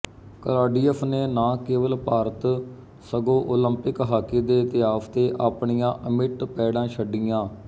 Claudius ਨੇ ਨਾ ਕੇਵਲ ਭਾਰਤ ਸਗੋਂ ਓਲੰਪਿਕ ਹਾਕੀ ਦੇ ਇਤਿਹਾਸ ਤੇ ਆਪਣੀਆਂ ਅਮਿੱਟ ਪੈੜਾਂ ਛੱਡੀਆਂ